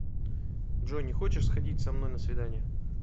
джой не хочешь сходить со мной на свидание